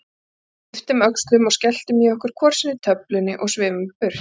Svo við ypptum öxlum og skelltum í okkur hvor sinni töflunni og svifum burt.